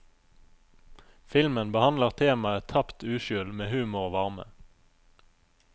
Filmen behandler temaet tapt uskyld med humor og varme.